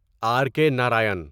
are کےناراین